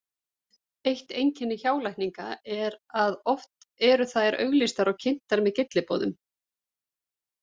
Eitt einkenni hjálækninga er að oft eru þær auglýstar og kynntar með gylliboðum.